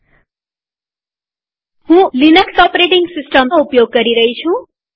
હું Ubuntu Linux OS નો ઉપયોગ કરી રહી છું